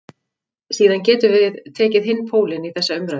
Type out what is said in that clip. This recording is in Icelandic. Síðan getum við tekið hinn pólinn í þessa umræðu.